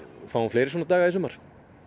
fáum fleiri svona daga í sumar